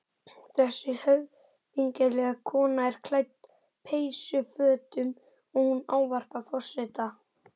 Þessi höfðinglega kona er klædd peysufötum og hún ávarpar forseta.